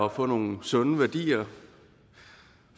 at få nogle sunde værdier